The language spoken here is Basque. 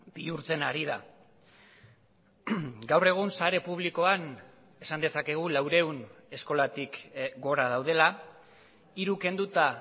bihurtzen ari da gaur egun sare publikoan esan dezakegu laurehun eskolatik gora daudela hiru kenduta